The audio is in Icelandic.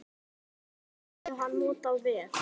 Tímann hafði hann notað vel.